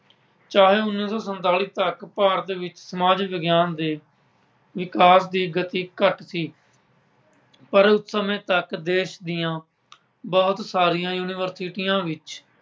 ਚਾਹੇ ਉੱਨ੍ਹੀਂ ਸੌ ਸੰਤਾਲੀ ਤੱਕ ਭਾਰਤ ਵਿੱਚ ਸਮਾਜ ਵਿਗਿਆਨ ਦੇ ਵਿਕਾਸ ਦੀ ਗਤੀ ਘੱਟ ਸੀ। ਪਰ ਉਸ ਸਮੇਂ ਤੱਕ ਦੇਸ਼ ਦੀਆਂ ਬਹੁਤ ਸਾਰੀਆਂ ਯੂਨੀਵਰਸਿਟੀਆਂ ਵਿੱਚ